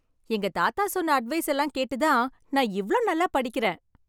எங்க தாத்தா சொன்ன அட்வைஸ் எல்லாம் கேட்டதா நான் இவ்வளவு நல்லா படிக்கிறேன்.